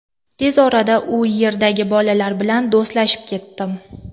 Tez orada u yerdagi bolalar bilan do‘stlashib ketdim.